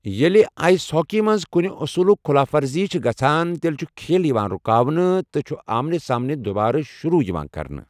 ییٚلہِ ice hockey منٛز کُنہِ اصوٗلُک خلاف ورزی چھِ گژھَان، تیٚلہِ چھُ کھیل یِوان رُکاونہٕ تہٕ چھُ آمنے سامنے دوبارٕ شروٗع یِوان کرنہٕ۔